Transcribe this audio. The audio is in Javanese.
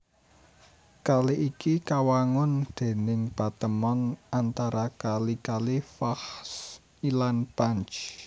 Kali iki kawangun déning patemon antara kali kali Vakhsh lan Panj